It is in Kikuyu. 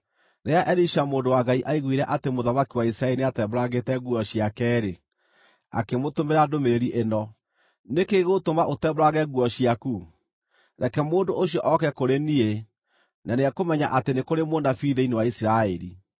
Rĩrĩa Elisha mũndũ wa Ngai aiguire atĩ mũthamaki wa Isiraeli nĩatembũrangĩte nguo ciake-rĩ, akĩmũtũmĩra ndũmĩrĩri ĩno: “Nĩ kĩĩ gĩgũtũma ũtembũrange nguo ciaku? Reke mũndũ ũcio oke kũrĩ niĩ, na nĩekũmenya atĩ nĩ kũrĩ mũnabii thĩinĩ wa Isiraeli.”